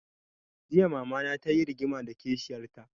Jiya mama na ta yi rigima da kishiyar ta